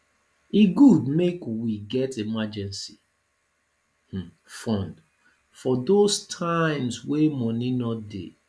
e good make we get emergency um fund for those times wey money no dey